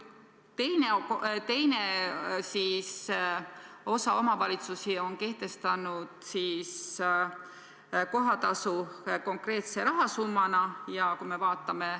Teine osa omavalitsusi on kehtestanud kohatasu konkreetse rahasummana.